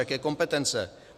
Jaké kompetence?